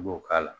I b'o k'a la